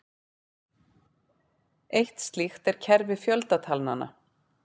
Eitt slíkt er kerfi fjöldatalnanna.